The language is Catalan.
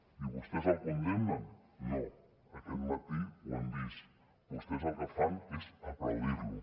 i vostès el condemnen no aquest matí ho hem vist vostès el que fan és aplaudir lo